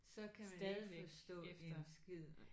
Så kan man ikke forstå en skid